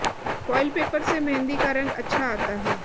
foil paper से मेहंदी का रंग अच्छा आता है